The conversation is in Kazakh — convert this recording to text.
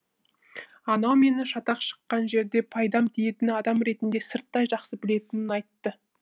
анау мені шатақ шыққан жерде пайдам тиетін адам ретінде сырттай жақсы білетінін айтты